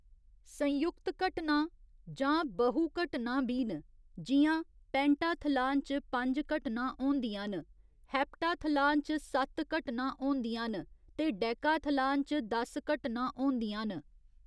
संयुक्त घटनां' जां 'बहु घटनां' बी न, जि'यां पेंटाथलान च पंज घटनां होंदियां न, हेप्टाथलान च सत्त घटनां होंदियां न, ते डेकाथलान च दस घटनां होंदियां न।